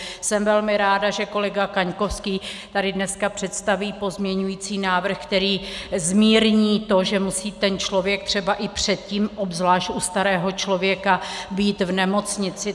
Jsem velmi ráda, že kolega Kaňkovský tady dneska představí pozměňovací návrh, který zmírní to, že musí ten člověk třeba i předtím, obzvlášť u starého člověka, být v nemocnici.